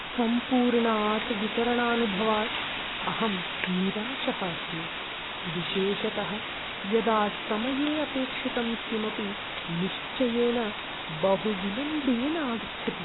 सम्पूर्णात् वितरणानुभवात् अहं निराशः अस्मि, विशेषतः यदा समये अपेक्षितं किमपि निश्चयेन बहुविलम्बेन आगच्छति।